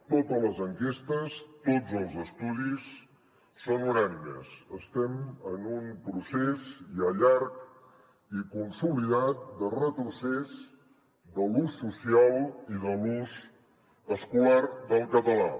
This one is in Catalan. totes les enquestes tots els estudis són unànimes estem en un procés ja llarg i consolidat de retrocés de l’ús social i de l’ús escolar del català